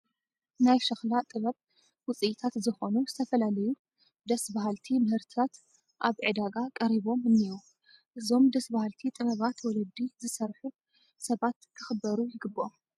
ናይ ሸኽላ ጥበብ ውፅኢታት ዝኾኑ ዝተፈላለዩ ደስ በሃልቲ ምህርትታት ኣብ ዕዳጋ ቀሪቦም እኔዉ፡፡ እዞም ደስ በሃልቲ ጥበባት ወለዲ ዝሰርሑ ሰባት ክኽበሩ ይግብኦም፡